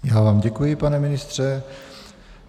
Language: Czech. Já vám děkuji, pane ministře.